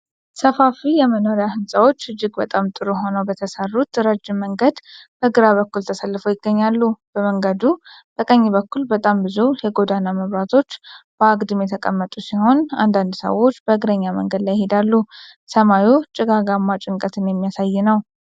ሰፋፊ የመኖሪያ ሕንፃዎች እጅግ በጣም ጥሩ ሆነው በተሰሩት ረጅም መንገድ በግራ በኩል ተሰልፈው ይገኛሉ። በመንገዱ በቀኝ በኩል በጣም ብዙ የጎዳና መብራቶች በአግድም የተቀመጡ ሲሆን፣ አንዳንድ ሰዎች በእግረኛ መንገድ ላይ ይሄዳሉ። ሰማዩ ጭጋጋማ ጭንቀትን የሚያሳይ ነው።